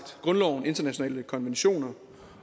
grundloven internationale konventioner